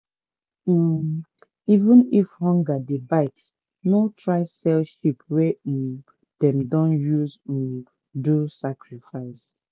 um even if hunger dey bite no try sell sheep wey um dem don use um do sacrifice